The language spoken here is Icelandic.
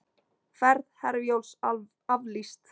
Ferð Herjólfs aflýst